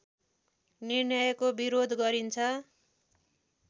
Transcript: निर्णयको विरोध गरिन्छ